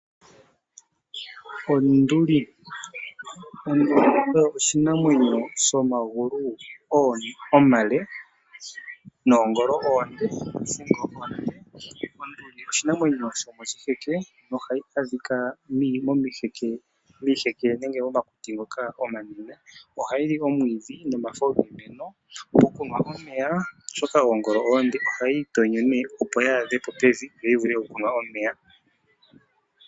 Onduli oshinanwenyo shomagulu omale noongolo onde, ohayi adhika miiheke. Oha yili omwiidhi nomafo giimeno, ngele tayinu omeya oshoka oongolo oonde ohayi itonyo opo yi vule okwaadha po pevi yo yimwe omeya.